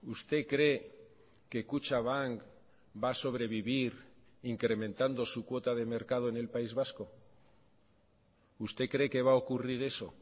usted cree que kutxabank va a sobrevivir incrementando su cuota de mercado en el país vasco usted cree que va a ocurrir eso